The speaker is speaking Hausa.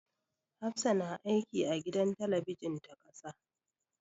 Hafsah na aiki a gidan talabijin ta ƙasa.